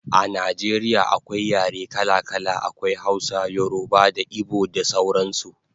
A Najeriya akwai yare kala kala, akwai Hausa, yoruba da igbo da sauran su